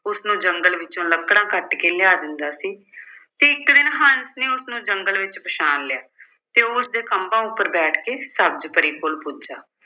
ਉਸਨੂੰ ਜੰਗਲ ਵਿੱਚੋਂ ਲੱਕੜਾਂ ਕੱਟ ਕੇ ਲਿਆ ਦਿੰਦਾ ਸੀ ਤੇ ਇੱਕ ਦਿਨ ਹੰਸ ਨੇ ਉਸਨੂੰ ਜੰਗਲ ਵਿੱਚ ਪਛਾਣ ਲਿਆ ਤੇ ਉਹ ਉਸਦੇ ਖੰਭਾਂ ਉੱਪਰ ਬੈਠ ਕੇ ਸਬਜ਼ ਪਰੀ ਕੋਲ ਪੁੱਜਿਆ